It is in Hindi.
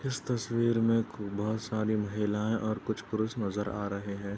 इस तस्वीर में बोहत सारी महिलाएँ और कुछ पुरुष नज़र आ रहे हैं।